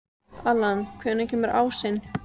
Allan, hvenær kemur ásinn?